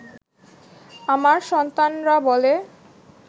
আমার সন্তানরা বলে